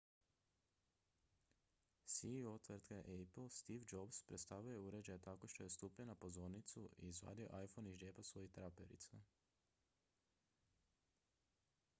ceo tvrtke apple steve jobs predstavio je uređaj tako što je stupio na pozornicu i izvadio iphone iz džepa svojih traperica